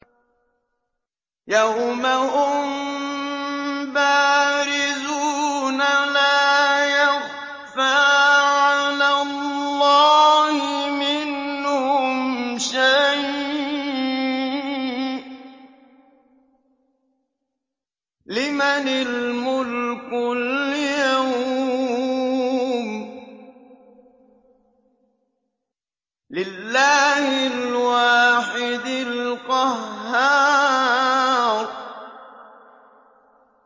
يَوْمَ هُم بَارِزُونَ ۖ لَا يَخْفَىٰ عَلَى اللَّهِ مِنْهُمْ شَيْءٌ ۚ لِّمَنِ الْمُلْكُ الْيَوْمَ ۖ لِلَّهِ الْوَاحِدِ الْقَهَّارِ